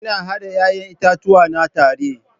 Ina hada 'ya'yan itatuwa na tare.